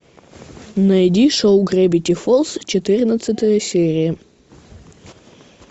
найди шоу гравити фолз четырнадцатая серия